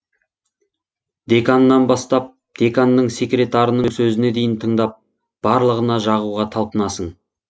деканнан бастап деканның секретарының сөзіне дейін тыңдап барлығына жағуға талпынасың